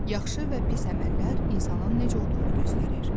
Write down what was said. Yaxşı və pis əməllər insanın necə olduğunu göstərir.